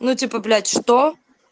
ну типа блять что